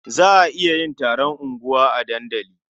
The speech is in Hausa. Za a iya yin taron unguwa a dandali.